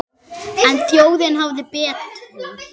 En þjóðin hafði betur.